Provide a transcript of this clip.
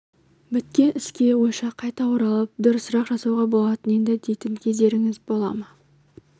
біткен іске ойша қайта оралып дұрысырақ жасауға болатын еді дейтін кездеріңіз бола ма